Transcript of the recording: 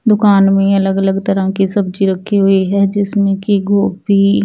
दूकान में अलग अलग तरह कि सब्जी रखी हुई है जिसमे कि गोभी--